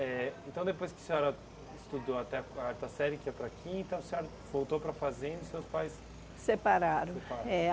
Eh então depois que a senhora estudou até a quarta série, que é para a quinta, a senhora voltou para a fazenda e os seus pais... Separaram. É